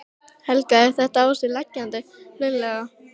Helga: Er þetta á sig leggjandi hreinlega?